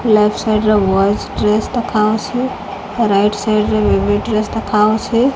Left side ର boys dress ଦେଖାହଉଛି ଆଉ ରାଇଟ ସାଇଡ ରେ ବେବି ଡ୍ରେସ ଦେଖାହଉଛି।